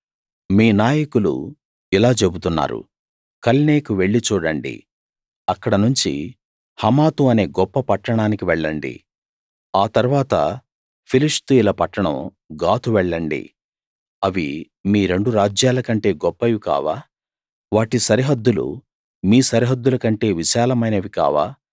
మీ నాయకులు ఇలా చెబుతున్నారు కల్నేకు వెళ్లి చూడండి అక్కడ నుంచి హమాతు అనే గొప్ప పట్టణానికి వెళ్ళండి ఆ తరువాత ఫిలిష్తీయుల పట్టణం గాతు వెళ్ళండి అవి మీ రెండు రాజ్యాలకంటే గొప్పవి కావా వాటి సరిహద్దులు మీ సరిహద్దులకంటే విశాలమైనవి కావా